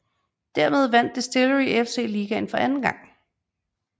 Dermed vandt Distillery FC ligaen for anden gang